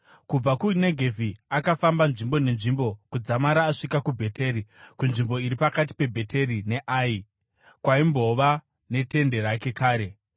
Kubva kuNegevhi akafamba nzvimbo nenzvimbo kudzamara asvika kuBheteri, kunzvimbo iri pakati peBheteri neAi kwaimbova netende rake kare